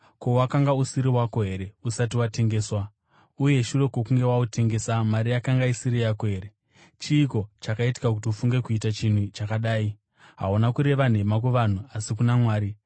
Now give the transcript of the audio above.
Ko, wakanga usiri wako here usati watengeswa? Uye shure kwokunge wautengesa, mari yakanga isiri yako here? Chiiko chakaita kuti ufunge kuita chinhu chakadai? Hauna kureva nhema kuvanhu asi kuna Mwari.”